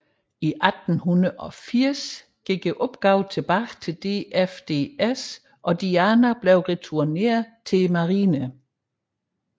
I 1880 gik opgaven tilbage til DFDS og Diana blev returneret til Marinen